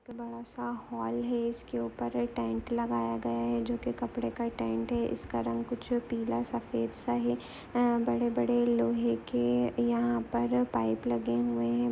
एक बड़ा सा हाल ही इसके ऊपर टेंट लगाया गया है जो की कपड़ा का टेंट ही इसका रंग कुछ पीला सफेद सा हैं बड़े-बड़े लोहे के यहाँ पर पाइप लगे हुए हैं ।